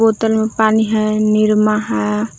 बोतल में पानी है निरमा है।